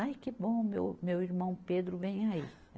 Ai, que bom, meu, meu irmão Pedro vem aí.